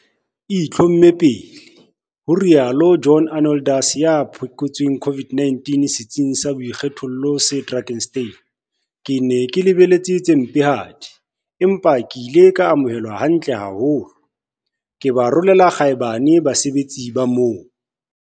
E itlhomme pele, ho rialo John Arnoldus, ya phekotsweng COVID-19 setsing sa boikgethollo se Drakenstein. Ke ne ke lebeletse tse mpehadi, empa ke ile ka amohelwa hantle haholo. Ke ba rolela kgaebane basebetsi ba moo!